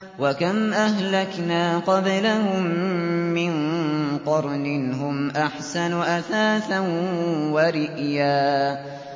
وَكَمْ أَهْلَكْنَا قَبْلَهُم مِّن قَرْنٍ هُمْ أَحْسَنُ أَثَاثًا وَرِئْيًا